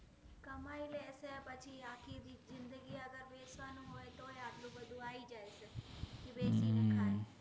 હમ્મ